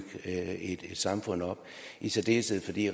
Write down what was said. et samfund op i særdeleshed fordi